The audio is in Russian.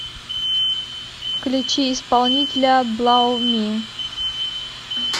включи исполнителя блау ми